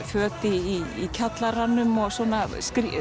föt í kjallaranum og svona